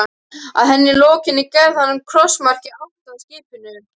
Að henni lokinni gerði hann krossmark í átt að skipinu.